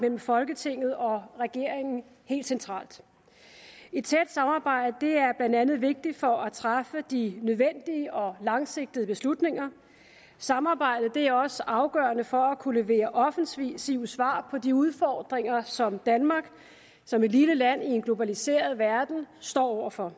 mellem folketinget og regeringen helt centralt et tæt samarbejde er blandt andet vigtigt for at træffe de nødvendige og langsigtede beslutninger samarbejdet er også afgørende for at kunne levere offensive svar på de udfordringer som danmark som et lille land i en globaliseret verden står over for